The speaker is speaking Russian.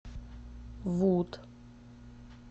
вуд